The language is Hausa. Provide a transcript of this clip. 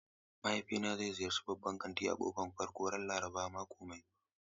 Mahaifina zai ziyarci babban kanti a karon farko ran Laraban mako mai zuwa.